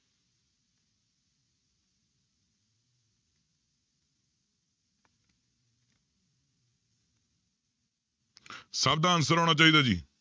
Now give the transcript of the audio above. ਸਭ ਦਾ answer ਆਉਣਾ ਚਾਹੀਦਾ ਜੀ।